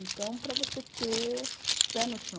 Então, para você ter pé no chão.